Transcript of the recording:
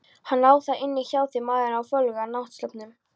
Hann á það inni hjá þér maðurinn á fölgula náttsloppnum.